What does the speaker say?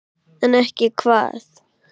En ekki hvað?